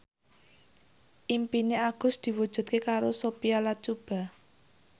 impine Agus diwujudke karo Sophia Latjuba